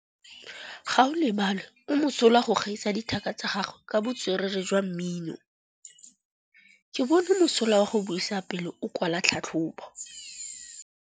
Gaolebalwe o mosola go gaisa dithaka tsa gagwe ka botswerere jwa mmino. Ke bone mosola wa go buisa pele o kwala tlhatlhobô.